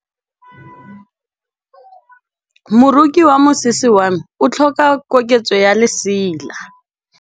Moroki wa mosese wa me o tlhoka koketsô ya lesela.